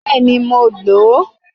Bẹ́ẹ̀ni, mo lò ó